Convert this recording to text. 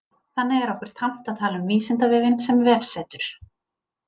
Þannig er okkur tamt að tala um Vísindavefinn sem vefsetur.